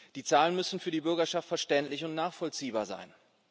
Die Zahlen müssen für die Bürgerschaft verständlich und nachvollziehbar sein.